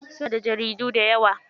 Suna da jaridu dayawa.